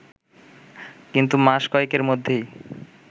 কিন্তু মাস কয়েকের মধ্যেই